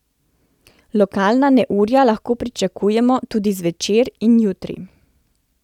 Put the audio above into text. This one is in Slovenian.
Lokalna neurja lahko pričakujemo tudi zvečer in jutri.